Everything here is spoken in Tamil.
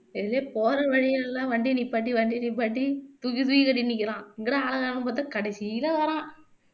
போற வழியில எல்லாம் வண்டிய நிப்பாட்டி வண்டிய நிப்பாட்டி தூக்கி தூக்கி கட்டி நிற்கிறான் எங்கடா ஆள காணோம்னு பாத்த கடைசியில வர்றான்